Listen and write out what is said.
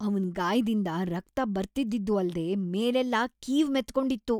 ಅವ್ನ್ ಗಾಯದಿಂದ ರಕ್ತ ಬರ್ತಿದ್ದಿದ್ದೂ ಅಲ್ದೇ ಮೇಲೆಲ್ಲ ಕೀವು ಮೆತ್ಕೊಂಡಿತ್ತು.